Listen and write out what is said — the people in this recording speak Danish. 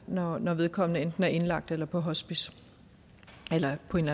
når når vedkommende enten er indlagt eller på hospice eller på en